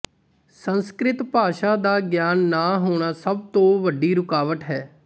ਸੰਸਕ੍ਰਿਤ ਭਾਸ਼ਾ ਦਾ ਗਿਆਨ ਨਾ ਹੋਣਾ ਸਭ ਤੋਂ ਵੱਡੀ ਰੁਕਾਵਟ ਹੈ